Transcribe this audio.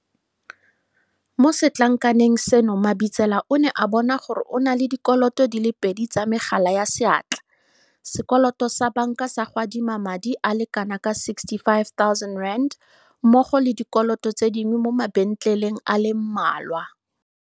Mo setlankaneng seno Mabitsela o ne a bona gore o na le dikoloto di le pedi tsa megala ya seatla, sekoloto sa banka sa go adima madi a le kanaka R65 000 mmogo le dikoloto tse dingwe mo mabentleleng a le mmalwa.